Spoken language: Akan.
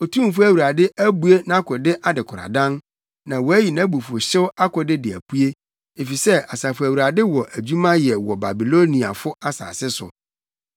Otumfo Awurade abue nʼakode adekoradan na wayi nʼabufuwhyew akode de apue, efisɛ Asafo Awurade wɔ adwuma yɛ wɔ Babiloniafo asase so.